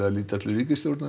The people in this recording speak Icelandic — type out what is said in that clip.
að leita til ríkisstjórnar